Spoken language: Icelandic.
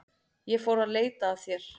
Ég fór að leita að þér.